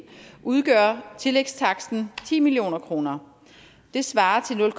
udgør tillægstaksten ti million kroner det svarer til nul